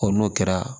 n'o kɛra